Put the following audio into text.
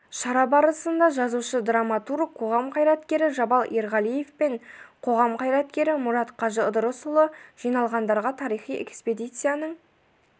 шара барысында жазушы-драматург қоғам қайраткері жабал ерғалиев пен қоғам қайраткері мұрат қажы ыдырысұлы жиналғандарға тарихи экспедицияның